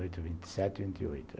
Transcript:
Vinte e oito, vinte e sete, vinte e oito.